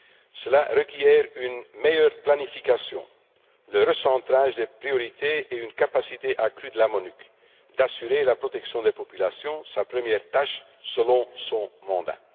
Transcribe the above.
Cela requiert une meilleure planification, le recentrage des priorités et une capacité accrue de la MONUC d'assurer la protection des populations, la première tâche prévue par son mandat.